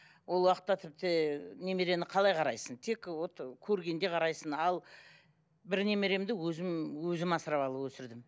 ол уақытта тіпті немерені қалай қарайсың тек вот көргенде қарайсың ал бір немеремді өзім өзім асырап алып өсірдім